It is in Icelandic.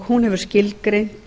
hún hefur skilgreint